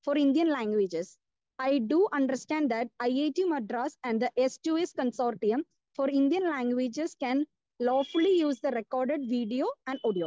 Speaker 2 for Indian languages can lawfully use the record video and audio.